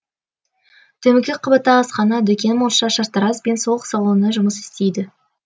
төменгі қабатта асхана дүкен монша шаштараз бен сұлулық салоны жұмыс істейді